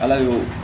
Ala y'o